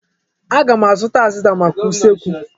Aga m azụta azịza maka usekwu.